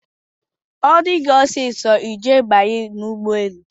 ọ dị gị ọsọsọ, I je banye ụgbọelu